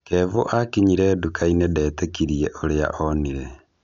Kevo akinyire duka-inĩ detĩkirie ũrĩa onire.